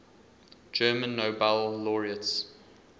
german nobel laureates